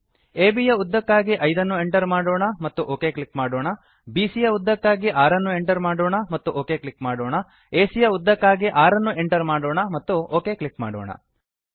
ಅಬ್ ಯ ಉದ್ದಕ್ಕಾಗಿ 5 ಅನ್ನು ಎಂಟರ್ ಮಾಡೋಣ ಮತ್ತು ಒಕ್ ಕ್ಲಿಕ್ ಮಾಡೋಣ ಬಿಸಿಯ ಯ ಉದ್ದಕ್ಕಾಗಿ 6 ಅನ್ನು ಎಂಟರ್ ಮಾಡೋಣ ಮತ್ತು ಒಕ್ ಕ್ಲಿಕ್ ಮಾಡೋಣ ಎಸಿಯ ಯ ಉದ್ದಕ್ಕಾಗಿ 6 ಅನ್ನು ಎಂಟರ್ ಮಾಡೋಣ ಮತ್ತು ಒಕ್ ಕ್ಲಿಕ್ ಮಾಡೋಣ